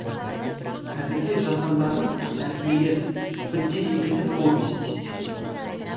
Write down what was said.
әзірге жазғандарым әңгімелер бірде екілі повесть